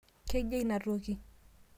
kejia ina toki?